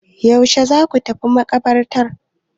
Yaushe za ku tafi maƙabartar?